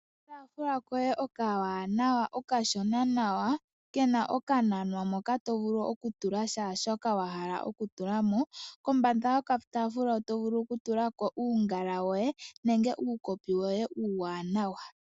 Okataafula koye oka wanawa okashona nawa kena oka nanwa moka to vulu oku tula shaa shoka wa hala oku tulamo . Kombanda yoka taafula oto vulu oku tulako uungala woye nenge uukopi woye uuwanawa .